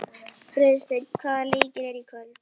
Friðsteinn, hvaða leikir eru í kvöld?